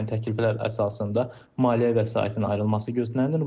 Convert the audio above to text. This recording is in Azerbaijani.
Həmin təkliflər əsasında maliyyə vəsaitinin ayrılması gözlənilir.